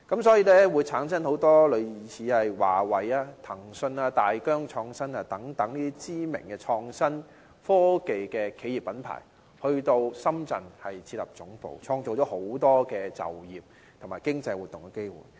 所以，很多類似華為、騰訊、大疆等知名創新科技企業和品牌，都到深圳設立總部，創造很多就業和經濟活動的機會。